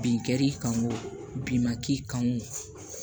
Bin kɛr'i kan o bin ma k'i kan o